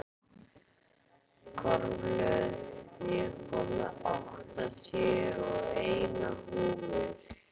Kormlöð, ég kom með áttatíu og eina húfur!